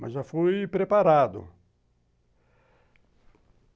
Mas já fui preparado.